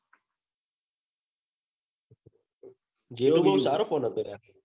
જીઓનીઓ સારો phone હતો લ્યા.